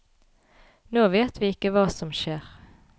Nå vet vi ikke hva som skjer.